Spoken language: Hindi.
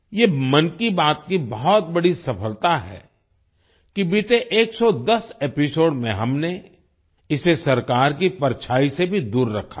ये मन की बात की बहुत बड़ी सफलता है कि बीते 110 एपिसोड में हमने इसे सरकार की परछाई से भी दूर रखा है